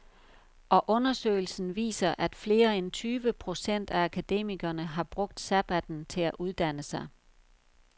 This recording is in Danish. Og undersøgelsen viser, at flere end tyve procent af akademikerne har brugt sabbatten til at uddanne sig.